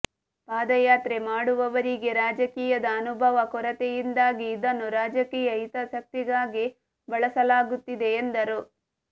ಪಾದಯಾತ್ರೆ ಮಾಡುವವರಿಗೆ ರಾಜಕೀಯದ ಅನುಭವ ಕೊರತೆಯಿಂದಾಗಿ ಇದನ್ನು ರಾಜಕೀಯ ಹಿತಾಸಕ್ತಿಗಾಗಿ ಬಳಸಲಾಗುತ್ತಿದೆ ಎಂದರು